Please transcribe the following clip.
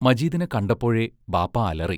മജീദിനെ കണ്ടപ്പോഴേ ബാപ്പാ അലറി.